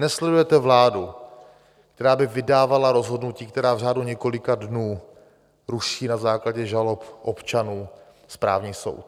Nesledujete vládu, která by vydávala rozhodnutí, která v řádu několika dnů ruší na základě žalob občanů správní soud.